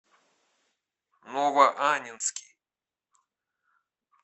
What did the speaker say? новоаннинский